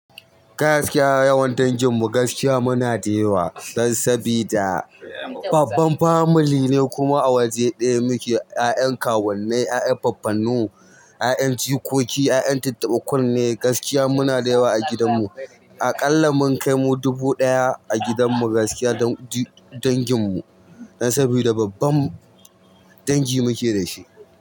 Gaskiya yawan danginmu gaskiya muna da yawa. Dan sabida babban family ne kuma a waje ɗaya muke. 'Ya'yan kawunnai, 'ya'yan faffannu, 'ya'yan jikoki, 'ya'yan tattaɓa kunne. Gaskiya muna da yawa a gidanmu. Aƙalla mun kai mu dubu ɗaya a gidanmu gaskiya danginmu. Dan sabida babban dangi muke da shi.